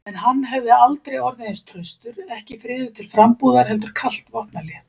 En hann hefði aldrei orðið eins traustur, ekki friður til frambúðar heldur kalt vopnahlé.